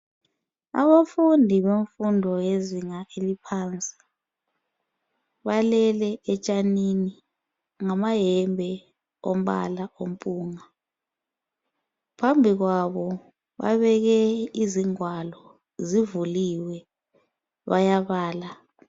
Abafundi bemfundo yezinga eliphansi, balele etshanini ngamahembe ombala ophunga. Phambi kwabo babeke izigwalo, sivuliwe bayabala.